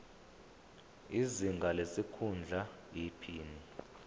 izinga lesikhundla iphini